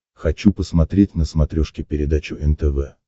хочу посмотреть на смотрешке передачу нтв